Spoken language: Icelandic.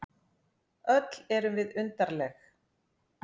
Öll erum við undarleg.